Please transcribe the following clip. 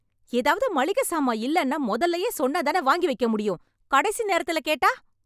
எதாவது மளிகை சாமான் இல்லன்னா மொதல்லயே சொன்னாதானே வாங்கி வைக்கமுடியும்... கடைசி நேரத்துல கேட்டா?